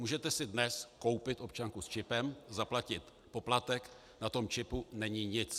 Můžete si dnes koupit občanku s čipem, zaplatit poplatek, na tom čipu není nic.